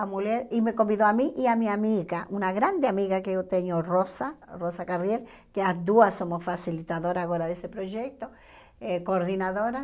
A mulher e me convidou a mim e a minha amiga, uma grande amiga que eu tenho, Rosa, Rosa Carriel, que as duas somos facilitadoras agora desse projeto, eh coordenadoras.